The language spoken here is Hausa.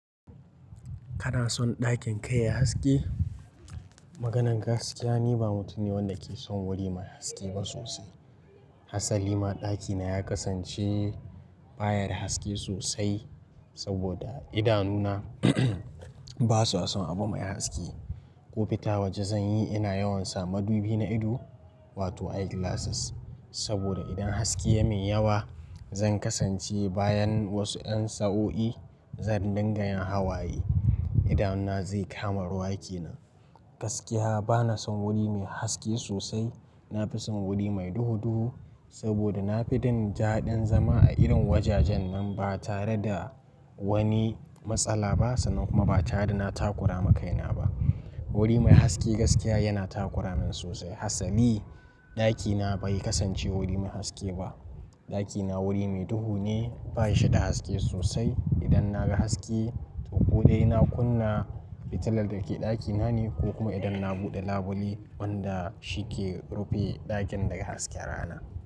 Kana son ɗakin kai ya haske? Maganan gaskiya, ni ba mutum ne wanda ke son wuri mai haske ba sosai. Hassali ma ɗakina ya kasance baya da haske sosai saboda idanuna ba sua son abu mai haske. Ku fita waje zan yi ina yawan sa madubi na ido, wato eye glasses saboda idan haske ya min yawa zan kasance bayan wasu ƴan sa'o'i zan dinga yin hawaye. Idanuna zai kama ruwa kenan. Gaskiya ba na son wuri mai haske sosai. Na fi son wuri mai duhu duhu saboda na fi jin daɗin zama a irin wajajen nan ba tare da wani matsala ba sannan kuma ba tare da na takura makaina ba. Wuri mai haske gaskiya yana takura min sosai. Hassali ɗakina bai kasance wuri mai haske ba. Ɗakina wuri mai duhu ne, bayi shi da haske sosai. Idan na ga haske ko dai na kunna fitilar da ke ɗakina ne ko kuma idan na buɗe labule wanda shi ke rufe ɗakin daga hasken rana.